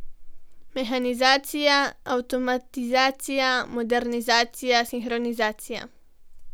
Mehanizacija, avtomatizacija, modernizacija, sinhronizacija.